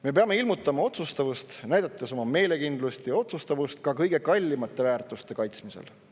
Me peame ilmutama otsustavust, näidates oma meelekindlust kõige kallimate väärtuste kaitsmisel.